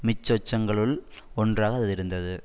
மிச்சசொச்சங்களுள் ஒன்றாக அது இருந்தது